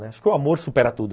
Acho que o amor supera tudo.